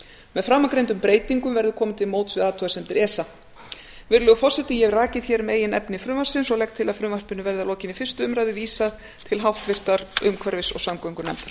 með framangreindum breytingum verður komið til móts við athugasemdir esa virðulegur forseti ég hef rakið hér meginefni frumvarpsins og legg til að frumvarpinu verði að lokinni fyrstu umræðu vísað til háttvirtrar umhverfis og samgöngunefndar